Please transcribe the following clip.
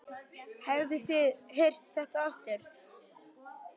Hafið þið heyrt þetta aftur?